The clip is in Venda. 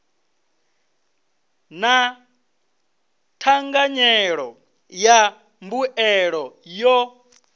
na thanganyelo ya mbuelo yo